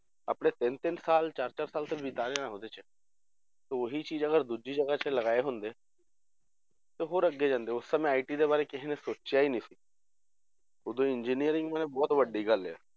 ਆਪਣੇ ਤਿੰਨ ਤਿੰਨ ਸਾਲ ਚਾਰ ਚਾਰ ਸਾਲ ਤਾਂ ਬਿਤਾਏ ਆ ਉਹਦੇ 'ਚ ਤੇ ਓਹੀ ਚੀਜ ਅਗਰ ਦੂਜੀ ਜਗਾਹ ਤੇ ਲਗਾਏ ਹੁੰਦੇ ਤੇ ਹੋਰ ਅੱਗੇ ਜਾਂਦੇ ਉਸ ਸਮੇਂ IT ਦੇ ਬਾਰੇ ਕਿਸੇ ਨੇ ਸੋਚਿਆ ਹੀ ਨੀ ਸੀ ਉਦੋਂ engineering ਮੈਂ ਬਹੁਤ ਵੱਡੀ ਗੱਲ ਆ